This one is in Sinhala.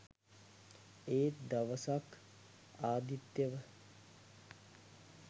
ඒත් දවසක් අදිත්‍යව